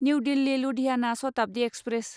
new Delhi Ludhiana Shatabdi express